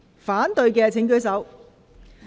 反對的請舉手。